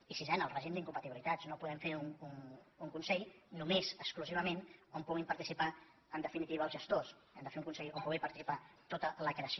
i sisena el règim d’incompatibilitats no podem fer un consell només exclusivament on puguin participar en definitiva els gestors hem de fer un consell on pugui participar tota la creació